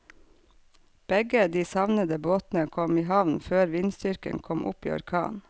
Begge de savnede båtene kom i havn før vindstyrken kom opp i orkan.